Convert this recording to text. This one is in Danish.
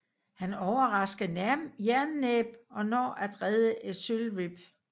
Han overrasker Jernnæb og når at redde Ezylryb